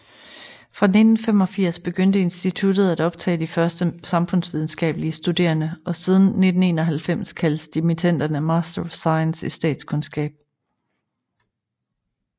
Fra 1965 begyndte instituttet at optage de første samfundsvidenskabelige studerende og siden 1991 kaldes dimittenderne MSc i statskundskab